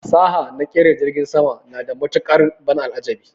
Fasaha naƙera jirgin sama na da matuƙar ban al'ajabi